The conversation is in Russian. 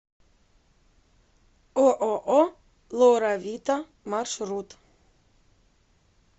ооо лоравита маршрут